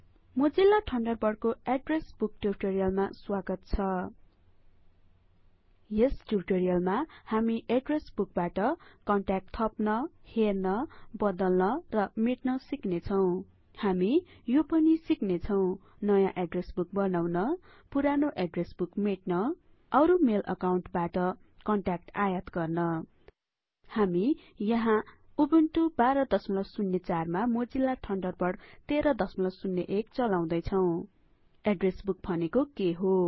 Mozilla ठन्डरबर्डको address book ट्युटोरियलमा स्वागत छ यस ट्युटोरियलमा हामी एड्रेस बुकबाट कन्ट्याक्ट थप्न हेर्न बदल्न र मेट्न सिक्नेछौं हामी यो पनि सिक्नेछौं नयाँ एड्रेस बुक बनाउन पुरानो एड्रेस बुक मेट्न अरु मेल अकाउन्टबाट कन्ट्याक्ट आयात गर्न यहाँ हामी उबुन्टु १२०४ मा मोजिल्ला ठन्डरबर्ड १३०१ चलाउदै छौँ एड्रेस बूक भनेको के हो